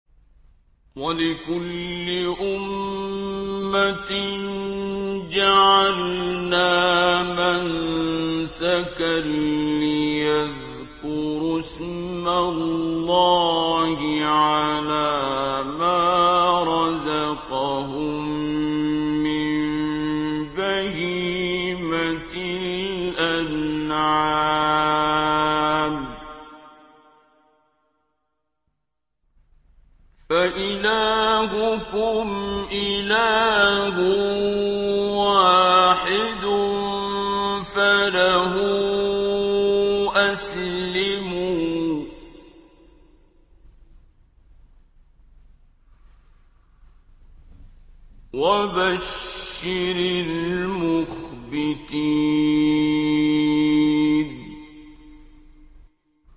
وَلِكُلِّ أُمَّةٍ جَعَلْنَا مَنسَكًا لِّيَذْكُرُوا اسْمَ اللَّهِ عَلَىٰ مَا رَزَقَهُم مِّن بَهِيمَةِ الْأَنْعَامِ ۗ فَإِلَٰهُكُمْ إِلَٰهٌ وَاحِدٌ فَلَهُ أَسْلِمُوا ۗ وَبَشِّرِ الْمُخْبِتِينَ